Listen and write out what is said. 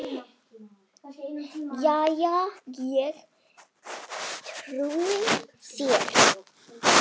Jæja, ég trúi þér.